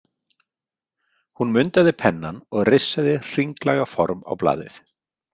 Hún mundaði pennann og rissaði hringlaga form á blaðið.